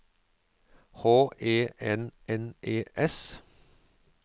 H E N N E S